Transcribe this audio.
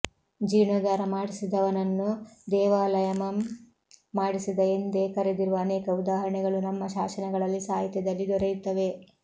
ಜೀರ್ಣೋದ್ದಾರ ಮಾಡಿಸಿದವನನ್ನು ದೇವಾಲಯಮಂ ಮಾಡಿಸಿದ ಎಂದೇ ಕರೆದಿರುವ ಅನೇಕ ಉದಾಹರಣೆಗಳು ನಮ್ಮ ಶಾಸನಗಳಲ್ಲಿ ಸಾಹಿತ್ಯದಲ್ಲಿ ದೊರೆಯುತ್ತವೆ